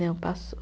Não, passou.